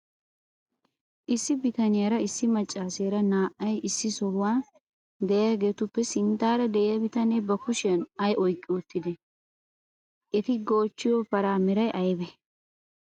Issi bitaniyara issi maccaaseera naa"ay issi sohuwan de'iyageetuppe sinttaara de'iya bitanee ba kushiyan ay oyqqi uttidee? Eti goochchiyo paraa meray aybee?